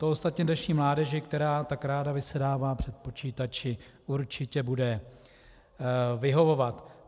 To ostatně dnešní mládeži, která tak ráda vysedává před počítači, určitě bude vyhovovat.